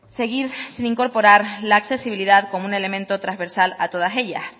seguir sin incorporar la accesibilidad como un elemento transversal a todas ellas